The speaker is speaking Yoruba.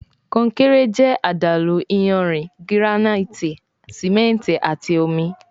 Konkéré jẹ àdàlú iyanrìn, giranaiti simẹnti àti omí